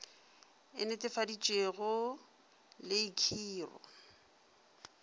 e netefaditšwego le i khiro